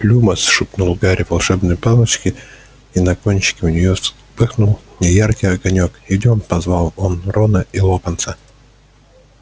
люмос шепнул гарри волшебной палочке и на кончике у нее вспыхнул неяркий огонёк идёмте позвал он рона и локонса